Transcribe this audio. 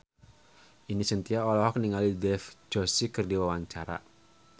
Ine Shintya olohok ningali Dev Joshi keur diwawancara